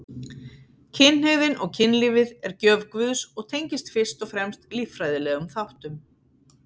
Kynhneigðin og kynlífið er gjöf Guðs og tengist fyrst og fremst líffræðilegum þáttum.